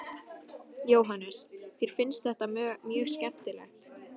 Jóhannes: Þér finnst þetta mjög skemmtilegt?